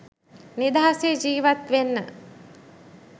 නිදහසේ ජිවත් වෙන්න.